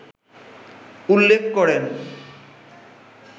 উল্লেখ করেন